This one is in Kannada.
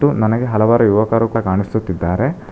ನನಗೆ ಹಲವಾರು ಯುವಕರು ಸಾ ಕಾಣಿಸುತ್ತಿದ್ದಾರೆ.